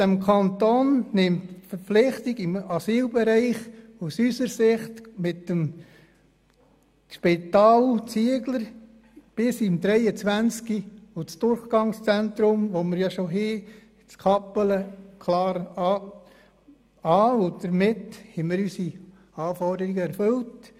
Der Kanton nimmt aus unserer Sicht im Asylbereich die Verpflichtung mit dem Zieglerspital bis 2023 und mit dem bestehenden Durchgangszentrum in Kappelen klar wahr, und damit haben wir unsere Anforderungen erfüllt.